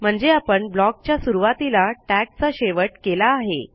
म्हणजे आपण blockच्या सुरूवातीला टॅग चा शेवट केला आहे